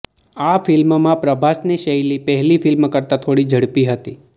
આ ફિલ્મમાં પ્રભાસની શૈલી પહેલી ફિલ્મ કરતા થોડી ઝડપી હતી